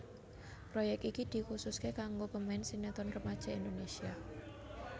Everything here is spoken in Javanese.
Proyek iki dikhususké kanggo pemain sinetron remaja Indonésia